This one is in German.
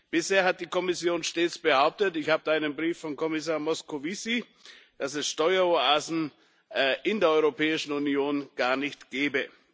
Bisher hat die Kommission stets behauptet ich habe da einen Brief von Kommissar Moscovici dass es Steueroasen in der Europäischen Union gar nicht gebe.